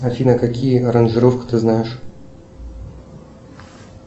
афина какие аранжировки ты знаешь